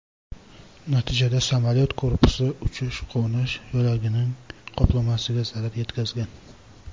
Natijada samolyot korpusi uchish-qo‘nish yo‘lagining qoplamasiga zarar yetkazgan.